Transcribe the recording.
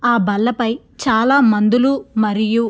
ఆ బల్ల పై చాలా మందులు మరియు--